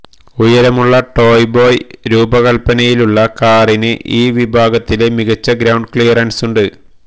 ഉയരമുള്ള ടോള്ബോയ് രൂപകല്പ്പനയിലുള്ള കാറിന് ഈ വിഭാഗത്തിലെ മികച്ച ഗ്രൌണ്ട് ക്ളിയറന്സുണ്ട്